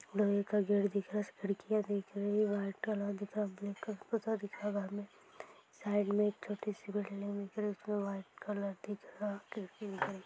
लोहे का गेट दिख रहा खिड्किया दिख रही व्हाइट कलर दिखरा ब्लू कलर साईड मे एक छोटी सी बिल्डिंग दिखरी उसमे व्हाइट कलर दिख रा खिड़की दिख रही --